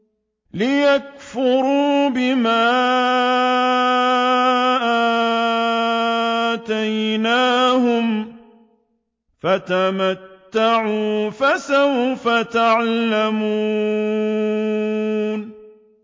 لِيَكْفُرُوا بِمَا آتَيْنَاهُمْ ۚ فَتَمَتَّعُوا ۖ فَسَوْفَ تَعْلَمُونَ